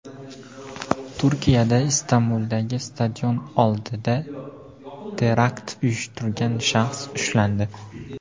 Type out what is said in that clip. Turkiyada Istanbuldagi stadion oldida terakt uyushtirgan shaxs ushlandi.